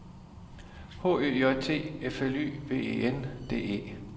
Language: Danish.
H Ø J T F L Y V E N D E